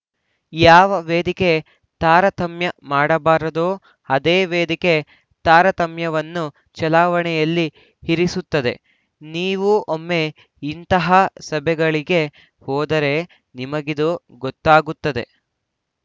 ಯಾವ ವೇದಿಕೆ ತಾರತಮ್ಯ ಮಾಡಬಾರದೋ ಅದೇ ವೇದಿಕೆ ತಾರತಮ್ಯವನ್ನು ಚಲಾವಣೆಯಲ್ಲಿ ಇರಿಸುತ್ತದೆ ನೀವು ಒಮ್ಮೆ ಇಂಥ ಸಭೆಗಳಿಗೆ ಹೋದರೆ ನಿಮಗಿದು ಗೊತ್ತಾಗುತ್ತದೆ